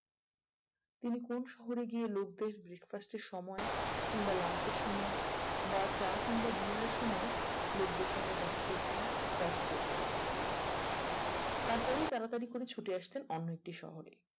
তিনি কোন শহরে গিয়ে লোকদের breakfast এর সময় কিংবা lunch এর সময় বা চা কিংবা dinner এর সময়ে লোকদের সঙ্গে দেখা করতেন কথা বলতেন তারপরেই তিনি ছুটে আসতেন তাড়াতাড়ি করে অন্য একটি শহরে